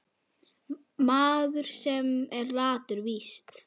Maður, sem er latur víst.